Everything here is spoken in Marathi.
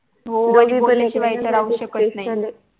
काय कराव काही समजत नाही